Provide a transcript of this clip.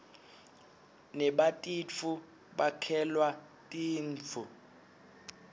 nebatitfu bakhelua tinbzu